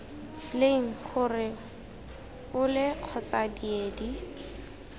leng gore ole kgotsa diedi